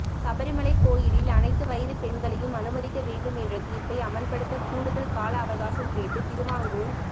சபரிமலை கோவிலில் அனைத்து வயது பெண்களையும் அனுமதிக்க வேண்டும் என்ற தீர்ப்பை அமல்படுத்த கூடுதல் கால அவகாசம் கேட்டு திருவாங்கூர்